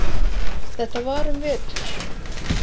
Þetta var um vetur.